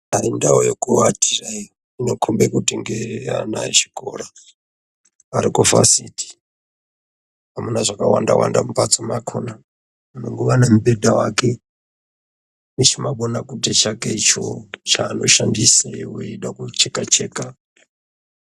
Aaaa indau yekuwatira iyi inokombe kuti ngeye ana echikora arikuvhasiti, amuna zvakawanda wanda mumbatso makona munongova nemubhedha wake nechimabonakute chale icho chaanoshandise weida kucheka Cheka.